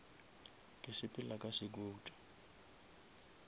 ke sepela ka sekuta